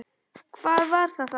Hvað var það þá?